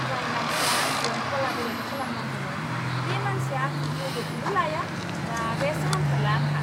जाय मानसिया आंजों कलाब'रेट खालामनांगौमोन, बे मानसिया आंजों लोगोखौनो लाया, रागायासो हामथारला आंहा!